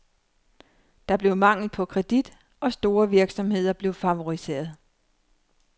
Der blev mangel på kredit, og store virksomheder blev favoriseret.